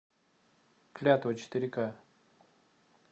клятва четыре ка